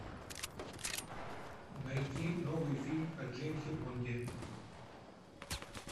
найди новый фильм о джеймсе бонде